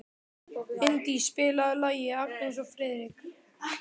Indí, spilaðu lagið „Agnes og Friðrik“.